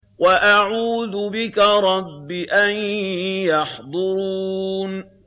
وَأَعُوذُ بِكَ رَبِّ أَن يَحْضُرُونِ